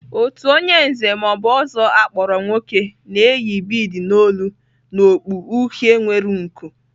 Otu onye Nze ma ọ bụ Ozo akpọrọ nwoke na-eyi bead n'olu na okpu uhie nwere nku.